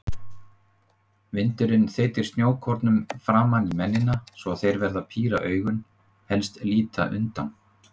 Vindurinn þeytir snjókornum framan í mennina svo þeir verða að píra augun, helst líta undan.